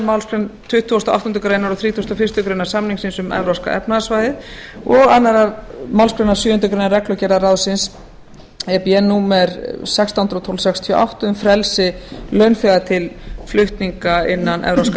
málsgrein tuttugustu og áttundu greinar og þrítugasta og fyrstu grein samningsins um evrópska efnahagssvæðið og annarri málsgrein sjöundu grein reglugerðar ráðsins e b e númer sextán hundruð og tólf sextíu og átta um frelsi launþega til flutninga innan evrópska